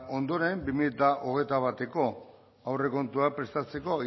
ondoren bi mila hogeita bateko aurrekontua prestatzeko